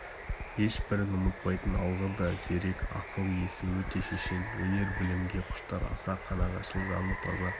ешбірін ұмытпайтын алғыр да зерек ақыл иесі өте шешен өнер-білімге құштар аса қанағатшыл жаны таза